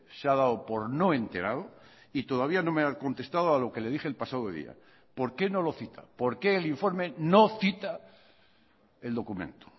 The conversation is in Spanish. se ha dado por no enterado y todavía no me ha contestado a lo que le dije el pasado día por qué no lo cita por qué el informe no cita el documento